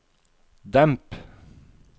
demp